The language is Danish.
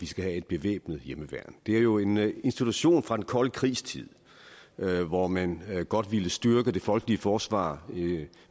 skal have et bevæbnet hjemmeværn det er jo en institution fra den kolde krigs tid hvor man godt ville styrke det folkelige forsvar